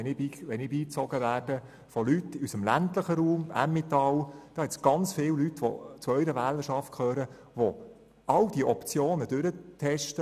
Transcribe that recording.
Wenn ich von Leuten aus dem ländlichen Raum beigezogen werde, beobachte ich viele Leute, die zu Ihrer Wählerschaft gehören und alle Optionen durchtesten.